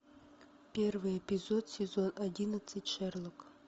первый эпизод сезон одиннадцать шерлок